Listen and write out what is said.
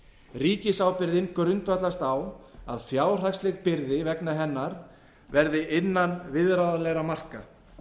ríkisábyrgðin grundvallast á því að fjárhagsleg byrði vegna hennar verði innan viðráðanlegra marka